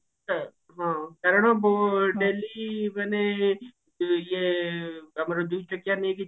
ହଁ କାରଣ ମୁଁ daily ମାନେ ଇଏ ଆମର ଦୁଇ ଚକିଆ ନେଇକି